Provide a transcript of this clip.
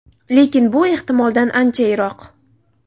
Lekin bu ehtimoldan ancha yiroq.